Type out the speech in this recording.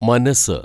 മനസ്സ്